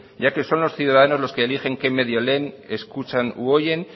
ya que son los ciudadanos los que eligen qué medio leen escuchan u oyen